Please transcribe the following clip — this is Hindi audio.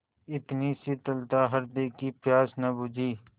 इतनी शीतलता हृदय की प्यास न बुझी